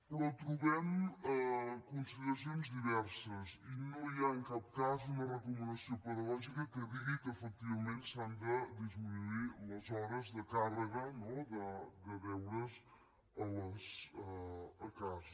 però trobem consideracions diverses i no hi ha en cap cas una recomanació pedagògica que digui que efectivament s’han de disminuir les hores de càrrega de deures a casa